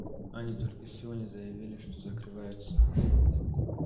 они только сегодня заявили что закрываются ха-ха